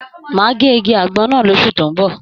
Máa gé igi àgbọn náà l'osu tó n bọ.